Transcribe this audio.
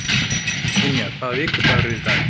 Ynja, hvaða vikudagur er í dag?